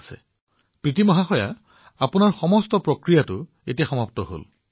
আচ্ছা প্ৰীতি এতিয়া আপোনাৰ সকলো কাৰ্য সম্পন্ন হল